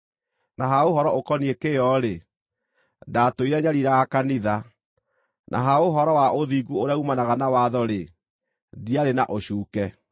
na ha ũhoro ũkoniĩ kĩyo-rĩ, ndaatũire nyariiraga kanitha; na ha ũhoro wa ũthingu ũrĩa uumanaga na watho-rĩ, ndiarĩ na ũcuuke.